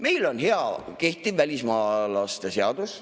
Meil on hea kehtiv välismaalaste seadus.